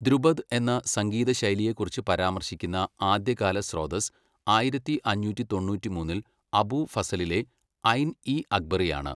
ധ്രുപദ് എന്ന സംഗീത ശൈലിയെക്കുറിച്ച് പരാമർശിക്കുന്ന ആദ്യകാല സ്രോതസ്സ് ആയിരത്തി അഞ്ഞൂറ്റി തൊണ്ണൂറ്റിമൂന്നിൽ അബു ഫസലിലെ ഐൻ ഇ അക്ബറിയാണ്.